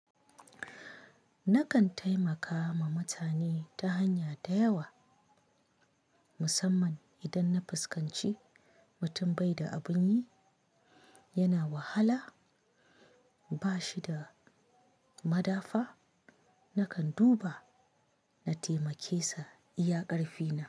Nakan taimaka ma mutane ta hanya da yawa musamman idan na fuskanci mutum bai da abun yi, yana wahala, ba shi da madafa. Nakan duba na taimake sa iya karfina.